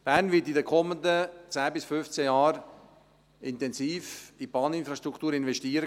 Bern wird in den kommenden 10 bis 15 Jahren intensiv in die Bahninfrastruktur investieren.